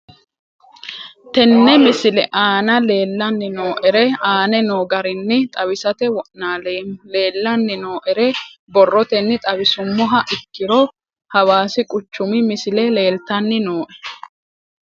Tene misile aana leelanni nooerre aane noo garinni xawisate wonaaleemmo. Leelanni nooerre borrotenni xawisummoha ikkiro hawassi quchumi misile leeltanni nooe.